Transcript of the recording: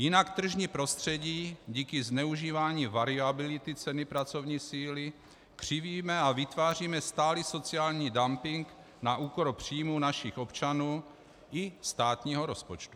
Jinak tržní prostředí díky zneužívání variability ceny pracovní síly křivíme a vytváříme stálý sociální dumping na úkor příjmů našich občanů i státního rozpočtu.